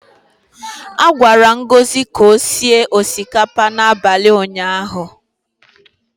A gwara Ngozi ka o sie osikapa n’abalị ụnyaahụ.